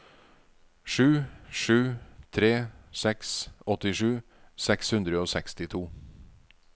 sju sju tre seks åttisju seks hundre og sekstito